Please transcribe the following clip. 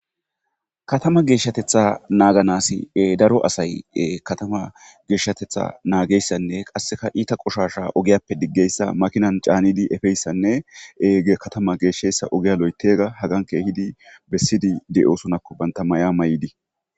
Katama geeshateta naaganaasi daro asay katama geeshshateta nagiyayssanne qasseka iita qoshshasha ogiyappe digiyayssa . makinan caanidi efiyayssanne katame geeshiyayssa ogiya ooththiyayssa hegga haggan keehidi besiidi de7osonako bantta maya mayidi.